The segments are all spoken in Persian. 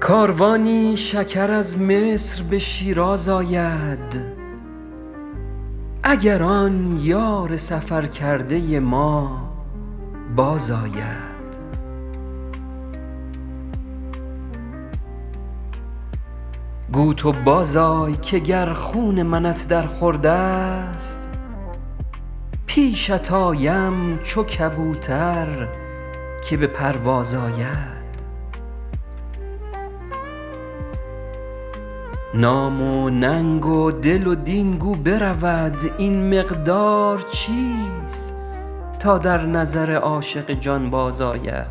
کاروانی شکر از مصر به شیراز آید اگر آن یار سفر کرده ما بازآید گو تو بازآی که گر خون منت در خورد است پیشت آیم چو کبوتر که به پرواز آید نام و ننگ و دل و دین گو برود این مقدار چیست تا در نظر عاشق جانباز آید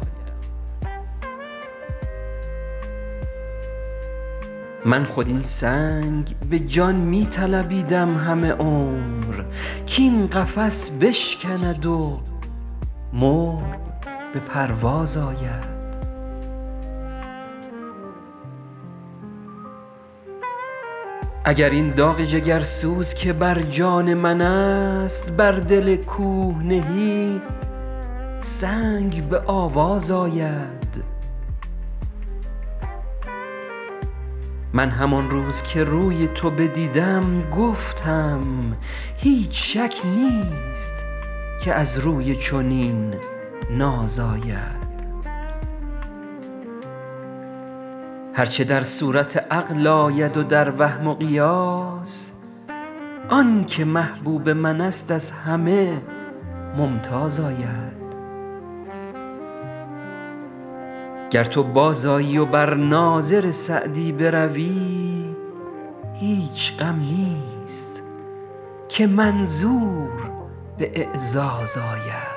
من خود این سنگ به جان می طلبیدم همه عمر کاین قفس بشکند و مرغ به پرواز آید اگر این داغ جگرسوز که بر جان من است بر دل کوه نهی سنگ به آواز آید من همان روز که روی تو بدیدم گفتم هیچ شک نیست که از روی چنین ناز آید هر چه در صورت عقل آید و در وهم و قیاس آن که محبوب من است از همه ممتاز آید گر تو بازآیی و بر ناظر سعدی بروی هیچ غم نیست که منظور به اعزاز آید